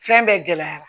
Fɛn bɛɛ gɛlɛyara